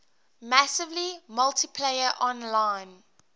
massively multiplayer online